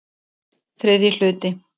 III hluti